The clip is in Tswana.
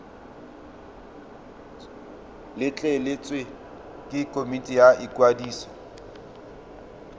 letleletswe ke komiti ya ikwadiso